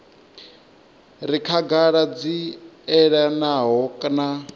re khagala dzi elanaho na